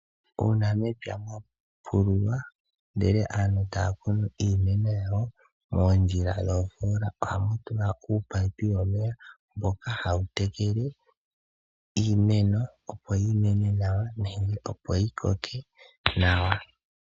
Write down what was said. Uuna mepya mwapululwa ndele aantu taya kunu iimeno yawo moondjila dhoofola ohamu tulwa uunino womeya mboka hawu tekele iimeno opo yimene nawa nenge opo yi koke nawa.